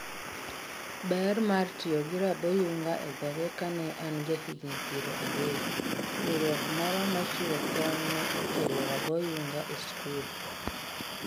Ber mar tiyo gi rabyunga e dhoge Kane an jahigini piero ariyo, riwruok moro ma chiwo kony ne okelo raboyunga e skul.